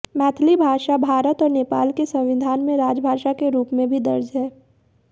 मैथिली भाषा भारत और नेपाल के संविधान में राजभाषा के रूप में भी दर्ज है